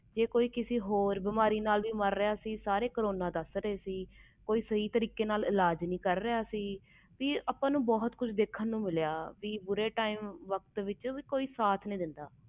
ਜੇ ਕੋਈ ਹੋਰ ਕਿਸੇ ਬਿਮਾਰੀ ਨਾਲ ਮਾਰ ਰਹੇ ਸੀ ਉਸ ਨੂੰ ਵੀ ਕਰੋਨਾ ਦਾ ਨਾਮ ਦੇ ਦਿੱਤੋ ਕਿ ਕਰੋਨਾ ਨਾਲ ਮਾਰ ਗਿਆ ਏ ਕੋਈ ਸਹੀ ਤਰੀਕੇ ਨਾਲ ਇਲਾਜ ਨਹੀਂ ਕਰ ਰਹੇ ਸੀ ਕਿਸੇ ਨੇ ਕਿਸੇ ਦਾ ਸਾਥ ਨਹੀਂ ਦਿੱਤੋ